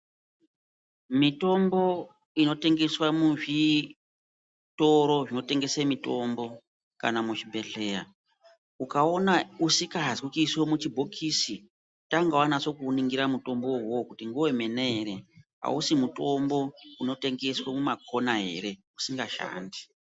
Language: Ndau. Mitombo ino tengeswe muzvitoro zvino tengese mitombo kana muzvibhedhleya, ukaona usikazi kuiswe muchibhokisi, tanga wanase kuuningira mutombowo uwowo kuti ngewe mene ere, awusi mutombo uno tengeswe muma khona ere, usinga shandi.